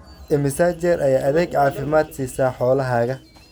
Imisa jeer ayaad adeeg caafimaad siisaa xoolahaaga?